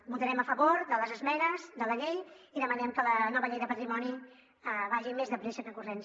votarem a favor de les esmenes de la llei i demanem que la nova llei de patrimoni vagi més de pressa que corrents